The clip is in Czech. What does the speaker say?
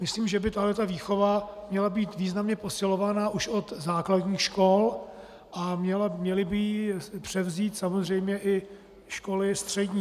Myslím, že by tato výchova měla být významně posilována už od základních škol a měly by ji převzít samozřejmě i školy střední.